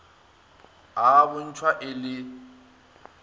a a bontšhwa e le